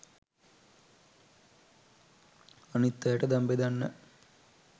අනිත් අයට දන් බෙදන්න